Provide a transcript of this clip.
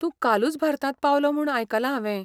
तूं कालूच भारतांत पावलो म्हूण आयकलां हांवें.